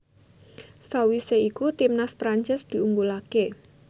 Sawisé iku timnas Prancis diunggulaké